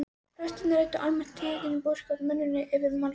Prestarnir ræddu almælt tíðindi af búskap og skepnuhöldum yfir málsverðinum.